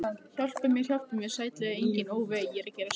Hjálpi mér, hjálpi mér, sætlega enginn, ó vei.